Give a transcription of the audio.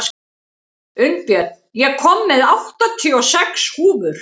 Unnbjörn, ég kom með áttatíu og sex húfur!